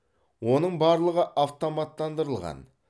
оның барлығы автоматтандырылған